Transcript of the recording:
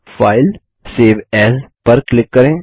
फाइलगटीजीटी save as पर click करें